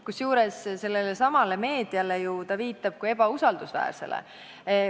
Kusjuures sellele samale meediale ta ju viitab kui ebausaldusväärsele.